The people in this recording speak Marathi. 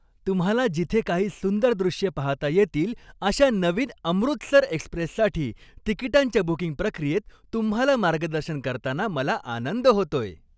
तुम्हाला जिथे काही सुंदर दृश्ये पाहता येतील अशा नवीन 'अमृतसर एक्स्प्रेस'साठी तिकीटांच्या बुकिंग प्रक्रियेत तुम्हाला मार्गदर्शन करताना मला आनंद होतोय!